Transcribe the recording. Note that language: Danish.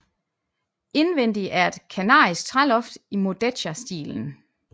Indvendig er et kanarisk træloft i Mudéjarstilen